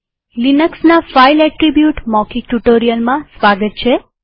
લિનક્સના file attribute મૌખિક ટ્યુ્ટોરીઅલમાં સ્વાગત છે